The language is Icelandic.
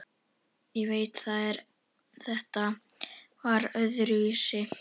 Ég veit það en þetta var öðruvísi.